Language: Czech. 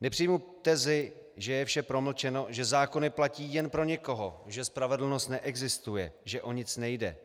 Nepřijmu tezi, že je vše promlčeno, že zákony platí jen pro někoho, že spravedlnost neexistuje, že o nic nejde.